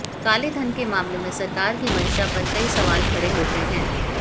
काले धन के मामले में सरकार की मंशा पर कई सवाल खड़े होते हैं